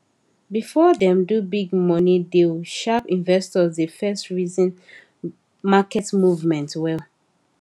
before dem do big money deal sharp investors dey first reason market movement well